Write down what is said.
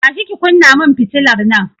Tashi ki kunna mun fitilar nan!